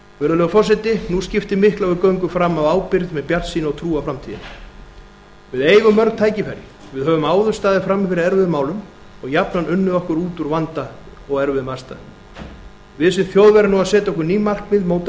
virðulegur forseti nú skiptir miklu að við göngum fram af ábyrgð með bjartsýni og trú á framtíðina við eigum mörg tækifæri við höfum áður staðið frammi fyrir erfiðum málum og jafnan unnið okkur út úr vanda og erfiðum aðstæðum við sem þjóð verðum nú að setja okkur ný markmið móta